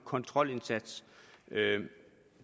kontrolindsats